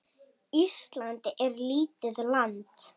Ísland er lítið land.